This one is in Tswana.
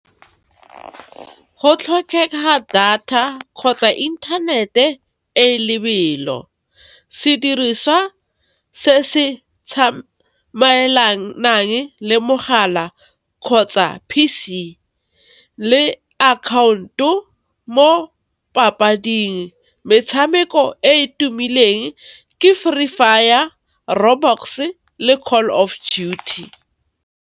Go tlhokega data kgotsa inthanete e lebelo, sediriswa se se tsamaelanang le mogala kgotsa P_C le account-o mo papading. Metshameko e e tumileng ke Free Fire, Roblox-e, le Call of Duty.